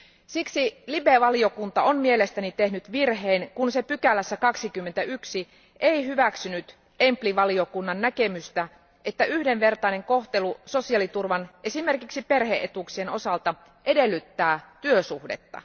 Siksi LIBE valiokunta on mielestäni tehnyt virheen, kun se ei 21 artiklassa hyväksynyt EMPL valiokunnan näkemystä, että yhdenvertainen kohtelu sosiaaliturvan, esimerkiksi perhe etuuksien, osalta edellyttää työsuhdetta.